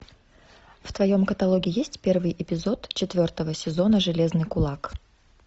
в твоем каталоге есть первый эпизод четвертого сезона железный кулак